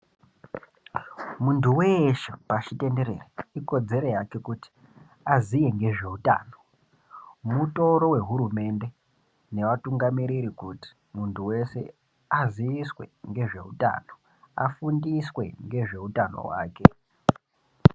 Muntu weshe pashitenderere ikodzero yake kuti aziye ngezveutano mutoro wehurumende nevatungamiriri kuti muntu wese aziiswe ngezveutano afundiswe ngezveutano hwake.